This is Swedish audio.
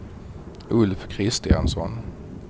Ulf Kristiansson